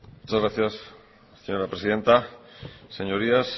muchas gracias señora presidenta señorías